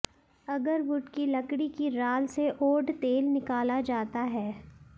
agarwood की लकड़ी की राल से ओड तेल निकाला जाता है